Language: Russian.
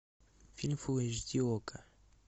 фильм фул эйч ди окко